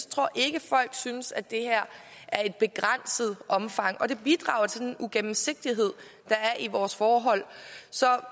tror ikke folk synes det her er i begrænset omfang og det bidrager til den uigennemsigtighed der er i vores forhold